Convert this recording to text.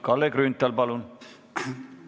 Kalle Grünthal, palun!